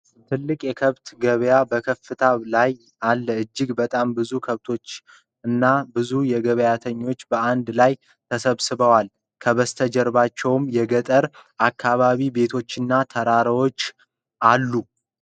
ትልቅ የከብት ገበያ በከፍታ ላይ አለ። እጅግ በጣም ብዙ ከብቶችና ብዙ ገበያተኞች በአንድ ላይ ተሰብስበዋል። ከበስተጀርባው የገጠር ከተማ ቤቶችና ተራሮች አሉ።